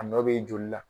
A nɔ bɛ joli la